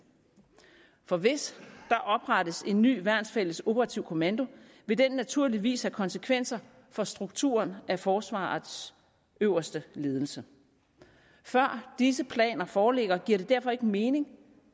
for hvis der oprettes en ny værnsfælles operativ kommando vil det naturligvis have konsekvenser for strukturen af forsvarets øverste ledelse før disse planer foreligger giver det derfor ikke mening